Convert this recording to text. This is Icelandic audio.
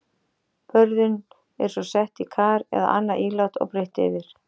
Börðin eru svo sett í kar eða annað ílát og breitt yfir.